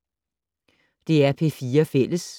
DR P4 Fælles